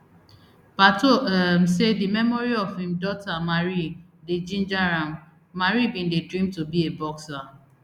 pato um say di memory of im daughter marie dey ginger am marie bin dey dream to be a boxer